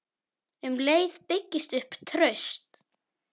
Um leið byggist upp traust.